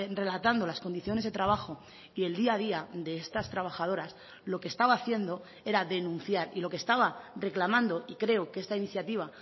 relatando las condiciones de trabajo y el día a día de estas trabajadoras lo que estaba haciendo era denunciar y lo que estaba reclamando y creo que esta iniciativa